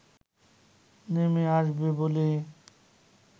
নেমে আসবে বলে